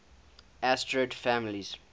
asterid families